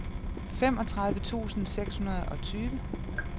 femogtredive tusind seks hundrede og tyve